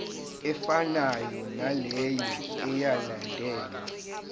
efanayo naleyo eyalandelwa